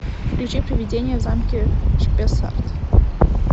включи приведение в замке шпессарт